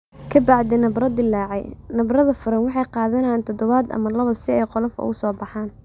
Ka bacdi nabarro dillaacay, nabarrada furan waxay qaadanayaan toddobaad ama laba si ay qolof uga soo baxaan.